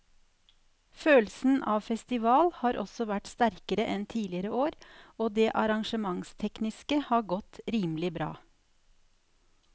Følelsen av festival har også vært sterkere enn tidligere år og det arrangementstekniske har godt rimelig bra.